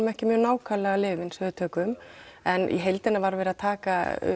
ekki mjög nákvæmlega lyfin sem við tökum en í heildina var verið að taka